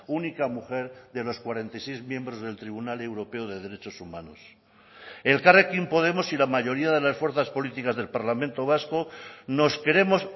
única mujer de los cuarenta y seis miembros del tribunal europeo de derechos humanos elkarrekin podemos y la mayoría de las fuerzas políticas del parlamento vasco nos queremos